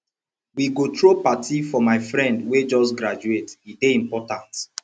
we go throw party for my friend wey just graduate e dey important